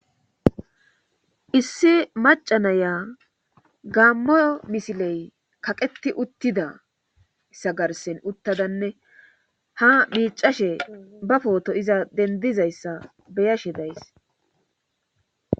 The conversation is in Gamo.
issi macanaya gaammo misiley kaqeti uttidayssa garsen uttadanne ha miicashe ba pooto iza dendizayssa beyashe days